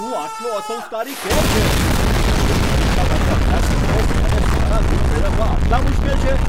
તું આટલો અસંસ્કારી કેમ છે? શું એક પરીક્ષા માટે અભ્યાસ કરવો અને સારા ગુણ મેળવવા આટલા મુશ્કેલ છે?